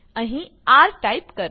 અહીં R type કરો